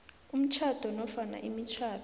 umtjhado nofana imitjhado